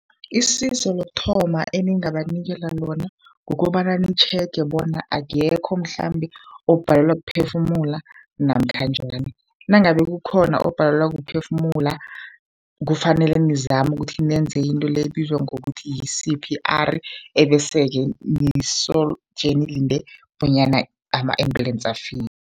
Isizo lokuthoma eningabanikela lona, kukobana nitjhege bona akekho mhlambe obhalelwa kuphefumula namkha njani. Nangabe kukhona obhalelwa kuphefumula, kufanele nizame ukuthi nenze into le ebizwa ngokuthi yi-C_P_R, bese-ke nisoje nilinde bonyana ama-ambulence afike.